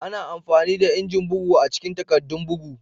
Ana amfani da injin bugu a cikin takaddun bugu.